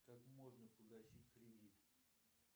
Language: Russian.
как можно погасить кредит